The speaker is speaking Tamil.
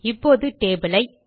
இப்போது டேபிள் ஐ